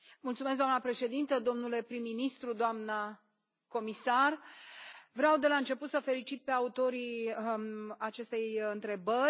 Doamnă președintă, domnule prim ministru, doamna comisar, vreau de la început să îi felicit pe autorii acestei întrebări.